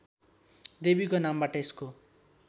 देवीको नामबाट यसको